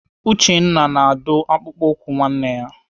Uchenna na-adụ akpụkpọ ụkwụ nwanne ya.